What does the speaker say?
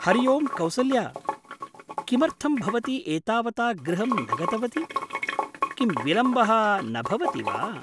हरिओं कौसल्या, किमर्थं भवती एतावता गृहं न गतवती? किं विलम्बः न भवति वा?